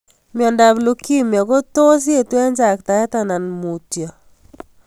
Miondop Lukemia kotos eet ing chaktaet anan ko mutyo.